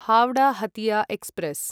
Howrah Hatia express